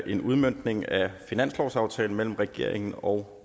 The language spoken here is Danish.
en udmøntning af finanslovsaftalen mellem regeringen og